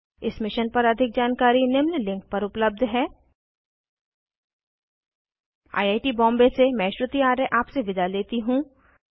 इस मिशन पर अधिक जानकारी निम्न लिंक पर उपलब्ध है 1 आई ऐ टी बॉम्बे से मैं श्रुति आर्य आपसे विदा लेती हूँ